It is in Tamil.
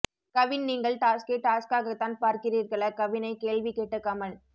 கவின் நீங்கள் டாஸ்க்கை டாஸ்க்காகத்தான் பார்க்கிறீர்களா கவினை கேள்வி கேட்ட கமல்